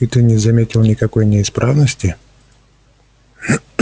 и ты не заметил никакой неисправности